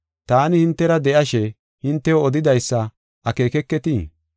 Taani hintera de7ashe hintew odidaysa akeekeketii?